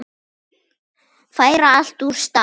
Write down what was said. Færa allt úr stað.